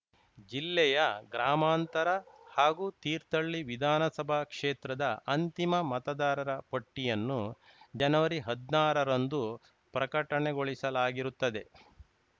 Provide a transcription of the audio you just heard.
ಜಿಲ್ಲೆಯ ಗ್ರಾಮಾಂತರ ಹಾಗೂ ತೀರ್ಥಳ್ಳಿ ವಿಧಾನಸಭಾ ಕ್ಷೇತ್ರದ ಅಂತಿಮ ಮತದಾರರ ಪಟ್ಟಿಯನ್ನು ಜನವರಿಹದ್ನಾರರಂದು ಪ್ರಕಟಣೆ ಗೊಳಿಸಲಾಗಿರುತ್ತದೆ